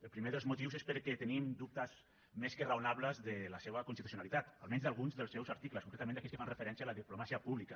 el primer dels motius és perquè tenim dubtes més que raonables de la seva constitucionalitat almenys d’alguns dels seus articles concretament d’aquells que fan referència a la diplomàcia pública